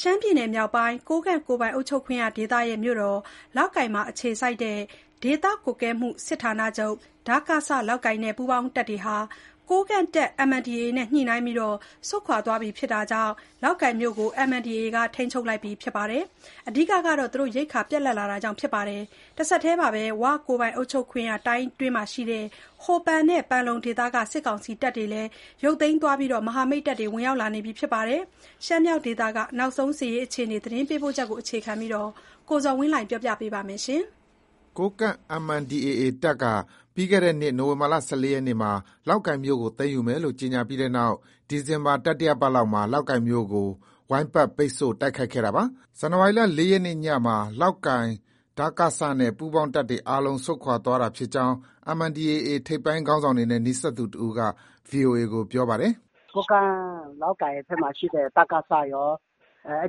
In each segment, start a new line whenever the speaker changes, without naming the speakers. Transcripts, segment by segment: ရှမ်းပြည်နယ်မြောက်ပိုင်း ကိုးကန့်ကိုယ်ပိုင်အုပ်ချုပ်ခွင့်ရဒေသရဲ့ မြို့တော် လောက်ကိုင်မှာ အခြေစိုက်တဲ့ ဒေသကွပ်ကဲမှု စစ်ဌာနချုပ် (ဒကစ- လောက်ကိုင်)နဲ့ ပူးပေါင်းတပ်တွေဟာ ကိုးကန့်တပ် MNDAA နဲ့ ညှိနှိုင်းပြီး ဆုတ်ခွာသွားတာကြောင့် လောက်ကိုင်မြို့ကို MNDAA က ထိန်းချုပ်လိုက်ပြီ ဖြစ်ပါတယ်။ အဓိကက ရိက္ခာပြတ်လပ်တာကြောင့် ဖြစ်ပါတယ်။ တဆက်တည်းမှာပဲ "ဝ"ကိုယ်ပိုင်အုပ်ချုပ်ခွင့်ရ တိုင်းအတွင်းမှာရှိတဲ့ ဟိုပန်နဲ့ ပန်လုံဒေသက စစ်ကောင်စီတပ်တွေကိုလည်း ရုတ်သိမ်းသွားပြီး မဟာမိတ်တပ်တွေ ဝင်ရောက်လာနေပါတယ်။ ရှမ်းမြောက်ဒေသရဲ့ နောက်ဆုံးအခြေအနေ သတင်းပေးပို့ချက်ကို အခြေခံပြီး ကိုဇော်ဝင်းလှိုင်က တင်ပြထားပါတယ်။
ကိုးကန့် MNDAA တပ်က ပြီးခဲ့တဲ့နှစ် နိုဝင်ဘာလ ၁၄ရက်မှာ လောက်ကိုင်ကို သိမ်းယူမယ်လို့ ကြေညာပြီးနောက် ဒီဇင်ဘာ တတိယပတ်လောက်မှာ လောက်ကိုင်မြို့ကို ဝိုင်းပတ် ပိတ်ဆို့ တိုက်ခိုက်ခဲ့တာပါ။ ဇန်နဝါရီလ ၄ရက်နေ့ညမှာ လောက်ကိုင် ဒကစနဲ့ ပူးပေါင်းတပ်တွေအားလုံး ဆုတ်ခွာသွားတာဖြစ်ကြောင်း MNDAA ထိပ်ပိုင်းခေါင်းဆောင်တွေနဲ့ နီးစပ်သူတဦးက VOA ကို ပြောပါတယ်။
“ ကိုးကန့် လောက်ကိုင်ဘက်မှာရှိတဲ့ ဒကစ ရော၊ အဲ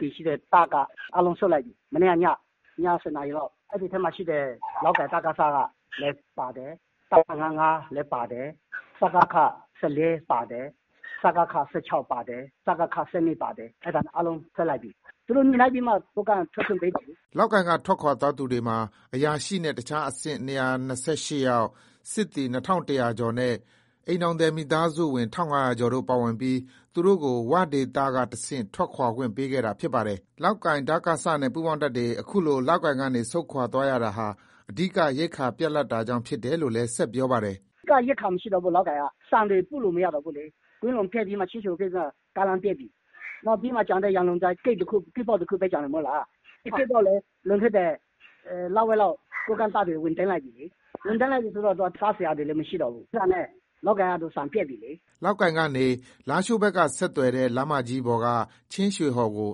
ဒီရှိတဲ့ တပ်အားလုံး ဆုတ်လိုက်ပြီ။ မနေ့က ည၊ ည ၁၀နာရီလောက်။ အဲဒီထဲမှာရှိတဲ့ လောက်ကိုင် ဒကစလည်း ပါတယ်။ တပ်မ ၅၅ လည်း ပါတယ်။ စကခ ၁၄ ပါတယ်။ စကခ ၁၆ ပါတယ်။ စကခ ၁၂ ပါတယ်။ အဲဒါ အားလုံး ထွက်လိုက်ပြီ။ သူတို့ ညှိနှိုင်းပြီးမှ ကိုးကန့်က ထွက်ခွင့် ပေးတာလေ။
” လောက်ကိုင်က ထွက်သွားသူတွေမှာ အရာရှိနဲ့ အခြားအဆင့် ၂၂၈ယောက်၊ စစ်သည် ၂,၁၀၀ကျော် နဲ့ တပ်အိမ်ထောင်သည်မိသားစုဝင် ၁၅၀၀ကျော်တို့ ပါဝင်ပြီး သူတို့ကို "ဝ"ဒေသကတဆင့် ထွက်ခွာခွင့်ပေးခဲ့တာ ဖြစ်ပါတယ်။ လောက်ကိုင် ဒကစနဲ့ ပူးပေါင်းတပ်တွေ အခုလို လောက်ကိုင်က ဆုတ်ခွာရတာဟာ အဓိက ရိက္ခာ ပြတ်လပ်တာကြောင့်ဖြစ်တယ်လို့လည်း ဆက်ပြောပါတယ်။
“ အဓိက ရိက္ခာမရှိတော့ဘူး လောက်ကိုင်က၊ ဆန်တွေ မရှိတော့ဘူးလေ။ ကွမ်းလုံပျက်ပြီးမှာ ချင်းရွှေဟော်ဂိတ်က ကားလမ်းပျက်ပြီ။ နောက်ပြီးမှ ရန်လုံကျိုင်း ဂိတ်ပေါက်တခုပဲ ကျန်တယ်မဟုတ်လား။ အဲဒီဂိတ်ကလည်း လွန်ခဲ့တဲ့ လဝက်လောက်က ကိုးကန့်တပ်တွေ ဝင်သိမ်းလိုက်ပြီလေ။ ဝင်သိမ်းလိုက်ပြီဆိုတော့ စားစရာတွေလည်း မရှိတော့ဘူး။ အဲဒါနဲ့ လောက်ကိုင်က ဆန်ပြတ်ပြီလေ
။” လောက်ကိုင်ကနေ လားရှိုးဘက်ကဆက်သွယ်တဲ့ လမ်းမကြီးပေါ်က ချင်းရွှေဟော်ကို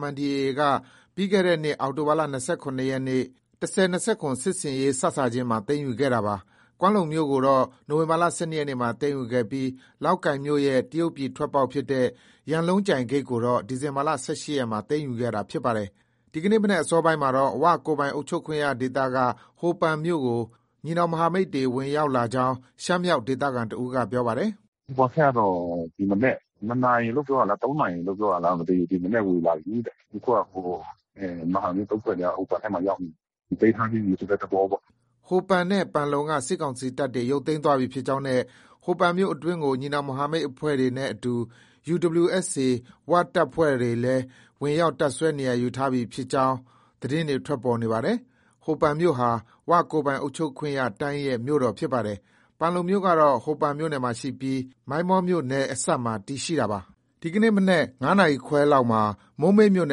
MNDAA က ပြီးခဲ့တဲ့နှစ် အောက်တိုဘာလ ၂၇ရက်နေ့ ၁၀၂၇ စစ်ဆင်ရေး စစ ချင်းမှာ သိမ်းယူခဲ့တာပါ။ ကွမ်းလုံမြို့ကိုတော့ နိုဝင်ဘာလ ၁၂ရက်နေ့မှာ သိမ်းယူခဲ့ပြီး လောက်ကိုင်မြို့ ရဲ့တရုတ်ပြည်ထွက်ပေါက်ဖြစ်တဲ့ ရန်လုံကျိုင်းဂိတ်ကိုတော့ ဒီဇင်ဘာ ၁၈ရက်မှာ သိမ်းယူခဲ့တာဖြစ်ပါတယ်။ ဒီကနေ့ မနက် အစောပိုင်းမှာတော့ "ဝ"ကိုယ်ပိုင်အုပ်ချုပ်ခွင့်ရဒေသက ဟိုပန်မြို့ကို ညီနောင် မဟာမိတ်တပ်တွေ ဝင်ရောက်လာကြောင်း ရှမ်းမြောက်ဒေသခံတဦးက ပြောပါတယ်။ “ ဟိုပန်ဘက်ကတော့ ၂နာရီလို့ ပြောတာလား၊ ၃နာရီလို့ ပြောတာလား၊ ဒီမနက် ဝင်လာပြီတဲ့။ အခုက
မဟာမိတ် ၃ဖွဲ့က ဟိုပန်ဘက်ကို ရောက်နေပြီ။ သိမ်းထားပြီးပြီ ဆိုတဲ့သဘောပေါ့။
” ဟိုပန်နဲ့ ပန်လုံက စစ်ကောင်စီတပ်တွေ ရုတ်သိမ်း သွားပြီ ဖြစ်ကြောင်းနဲ့ ဟိုပန်မြို့အတွင်းကို ညီနောင်မဟာမိတ်အဖွဲ့တွေနဲ့အတူ UWSA ၀ တပ်ဖွဲ့များ ဝင်ရောက် တပ်စွဲနေရာယူထားပြီ ဖြစ်ကြောင်းလည်း သတင်းတွေ ထွက်ပေါ်နေပါတယ်။ ဟိုပန်မြို့ဟာ "ဝ" ကိုယ်ပိုင်အုပ်ချုပ်ခွင့်ရတိုင်းရဲ့ မြို့တော်ဖြစ်ပါတယ်။ ပန်လုံမြို့ကတော့ ဟိုပန်မြို့နယ်မှာရှိပြီး မိုင်းမောမြို့နယ်အစပ်မှာ တည်ရှိတာပါ။ ဒီနေ့ မနက် ၅နာရီခွဲခန့်မှာ မိုးမိတ်မြို့န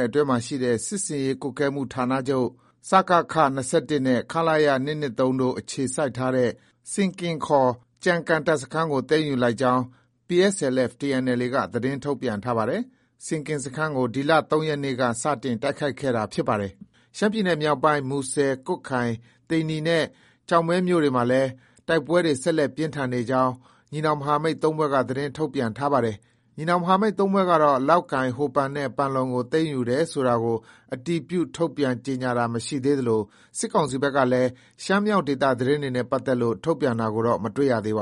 ယ်ရှိ စစ်ဆင်ရေးကွပ်ကဲမှု ဌာနချုပ် (စကခ) ၂၁နဲ့ ခလရ ၂၂၃ တို့ အခြေစိုက်ထားတဲ့ ဆင်ကင် ခေါ် ကျန်ကန် တပ်စခန်းကို သိမ်းယူလိုက်ကြောင်း PSLF/TNLA က သတင်း ထုတ်ပြန်ထားပါတယ်။ ဆင်ကင်စခန်းကို ဒီလ ၃ရက်နေ့က စတင်တိုက်ခိုက်ခဲ့တာ ဖြစ်ပါတယ်။ ရှမ်းပြည်နယ်မြောက်ပိုင်း မူဆယ်၊ ကွတ်ခိုင်၊ သိန္နီနဲ့ ကျောက်မဲမြို့နယ်တွေမှာလည်း တိုက်ပွဲတွေ ဆက်လက် ပြင်းထန်နေကြောင်း ညီနောင်မဟာမိတ် ၃ဖွဲ့က ထုတ်ပြန်ထားပါတယ်။ ညီနောင်မဟာမိတ် ၃ဖွဲ့ကတော့ လောက်ကိုင်၊ ဟိုပန်နဲ့ ပန်လုံကို သိမ်းယူတယ်ဆိုတာကို အတည်ပြုထုတ်ပြန်ကြေညာတာတော့ မရှိသေးသလို စစ်ကောင်စီဘက်ကလည်း ရှမ်းမြောက်ဒေသ သတင်းနဲ့ ပတ်သက်လို့ ထုတ်ပြန်တာကိုတော့ မတွေ့ ရပါ